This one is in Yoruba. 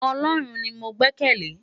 Òlòrún ni mó gbèkèlé